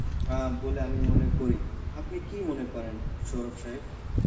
আ বলে আমি মনে করি, আপনি কি মনে করেন সৌরভ সাহেব?